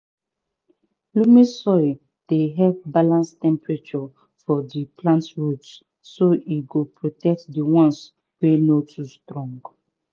loamy soil dey help balance temperature for di plant roots so e go protect di once wey no too strong